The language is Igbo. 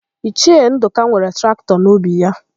Ichie Ndụka nwere traktọ atọ n'ubi ya.